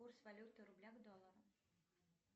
курс валюты рубля к доллару